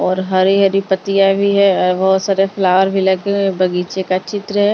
और हरी हरी पत्तियां भी है और बहुत सारे फ्लावर भी लगे हुए बगीचे का चित्र है।